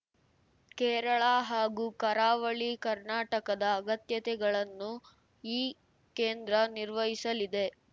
ಕೇರಳ ಹಾಗೂ ಕರಾವಳಿ ಕರ್ನಾಟಕದ ಅಗತ್ಯತೆಗಳನ್ನು ಈ ಕೇಂದ್ರ ನಿರ್ವಹಿಸಲಿದೆ